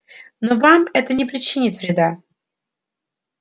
но вам это не причинит вреда